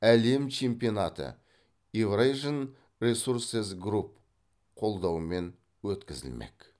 әлем чемпионаты еурэйжиэн ресурсес групп қолдауымен өткізілмек